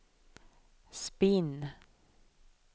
spinn